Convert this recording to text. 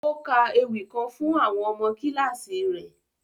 O ka èwi kan fun àwọn ọmọ kílasì rẹ.